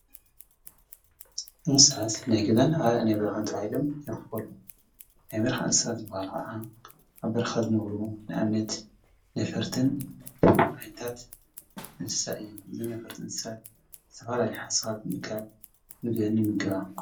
ንሳት ናይ ገዛን ናይ በርኻን ትዓኢሎም የኽፈሉ ናይ በርኃ ንሳት ዝበሃል ኸዓ ኣብ በርኻዘመብሩ ንኣምነት ነፍርትንዓይታት እሳ እዮም ዘነፈርት እንሳት ተባልሊሓሳኻት ነካል ምድን ይምገባ።